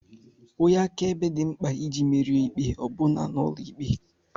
Onye akaebe dị mkpa iji merie ikpe ọ bụla n'ụlọ ikpe